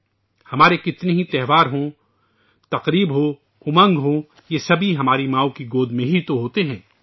خواہ ہمارے کتنے ہی تہوار ہوں ، جشن ہو، امنگ ہو، یہ سب ہماری ماؤں کی گود میں ہی ہوتے ہیں